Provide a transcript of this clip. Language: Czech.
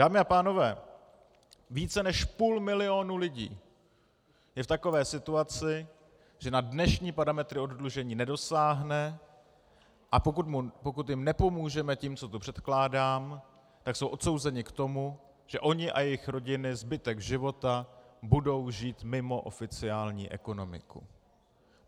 Dámy a pánové, více než půl milionu lidí je v takové situaci, že na dnešní parametry oddlužení nedosáhne, a pokud jim nepomůžeme tím, co tu předkládám, tak jsou odsouzeni k tomu, že oni a jejich rodiny zbytek života budou žít mimo oficiální ekonomiku.